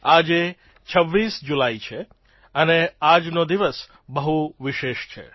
આજે ૨૬ જુલાઇ છે અને આજનો દિવસ બહુ વિશેષ છે